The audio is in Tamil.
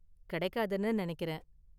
கிடைக்காதுன்னு நினைக்கிறேன்.